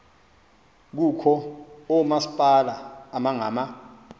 kukho oomasipala abangama